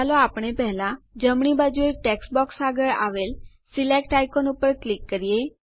ચાલો આપણે પહેલા જમણી બાજુએ ટેક્સ્ટ બોક્સ આગળ આવેલ સિલેક્ટ આઇકોન ઉપર ક્લિક કરીએ